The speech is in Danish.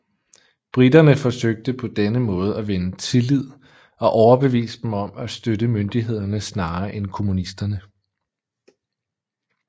Briterne forsøgte på denne måde at vinde tillid og overbevise dem om at støtte myndighederne snarere end kommunisterne